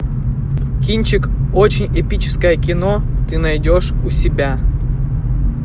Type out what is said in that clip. кинчик очень эпическое кино ты найдешь у себя